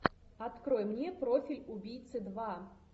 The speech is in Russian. открой мне профиль убийцы два